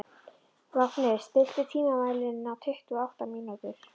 Vápni, stilltu tímamælinn á tuttugu og átta mínútur.